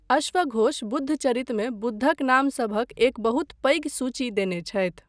अश्वघोष बुद्धचरितमे बुद्धक नामसभक एक बहुत पैघ सूची देने छथि।